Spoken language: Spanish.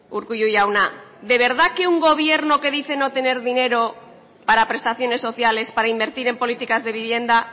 urkullu jauna de verdad que un gobierno que dice no tener dinero para prestaciones sociales para invertir en políticas de vivienda